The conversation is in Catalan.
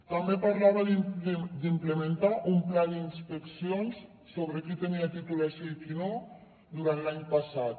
també parlava d’implementar un pla d’inspeccions sobre qui tenia titulació i qui no durant l’any passat